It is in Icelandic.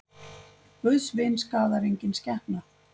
Guðs vin skaðar engin skepna.